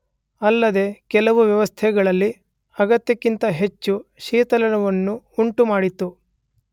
ಅಲ್ಲದೇ ಕೆಲವು ವ್ಯವಸ್ಥೆಗಳಲ್ಲಿ ಅಗತ್ಯಕ್ಕಿಂತ ಹೆಚ್ಚು ಶೀತಲವನ್ನುಂಟುಮಾಡಿತು.